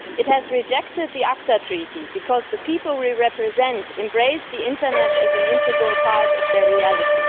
It has rejected the ACTA Treaty because the people we represent embrace the internet as an integral part of their reality.